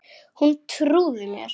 Hún trúði mér.